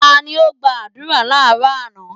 Ta ni ó gba àdúrà láàrọ́ àná?